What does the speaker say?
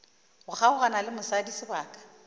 go kgaogana le mosadi sebaka